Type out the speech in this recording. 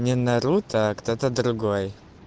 не наруто а кто-то другой